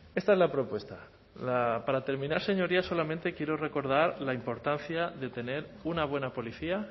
esta es la propuesta para terminar señorías solamente quiero recordar la importancia de tener una buena policía